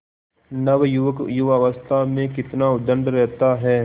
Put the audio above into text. नवयुवक युवावस्था में कितना उद्दंड रहता है